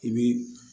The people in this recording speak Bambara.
I bi